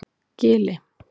Gili